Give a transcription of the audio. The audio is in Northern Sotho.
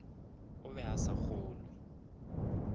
o be a sa kgolwe